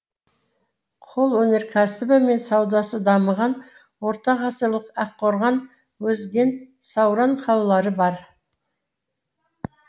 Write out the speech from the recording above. қолөнеркәсібі мен саудасы дамыған ортағасырлық аққорған өзгент сауран қалалары бар